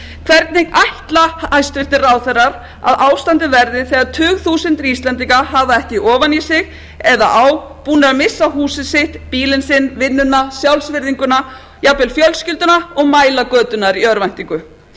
hvernig ætla hæstvirtir ráðherrar að ástandið verði þegar tugþúsundir íslendinga hafa ekki ofan í sig eða á búnir að missa húsið sitt bílinn sinn vinnuna sjálfsvirðinguna jafnvel fjölskylduna og mæla göturnar í örvæntingu